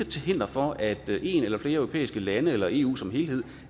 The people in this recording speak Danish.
til hinder for at et eller flere europæiske lande eller eu som helhed